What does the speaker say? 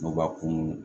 N'u b'a kun